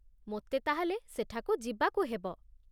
ମୋତେ ତା'ହେଲେ ସେଠାକୁ ଯିବାକୁ ହେବ।